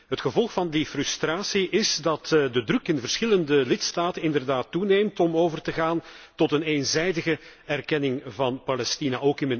Het gevolg van die frustratie is dat de druk in verschillende lidstaten inderdaad toeneemt om over te gaan tot een eenzijdige erkenning van Palestina.